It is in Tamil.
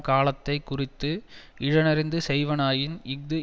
காலத்தை குறித்து இடனறிந்து செய்வனாயின் இஃது